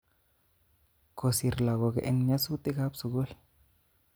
Kosir lagok eng nyosutik kap sukul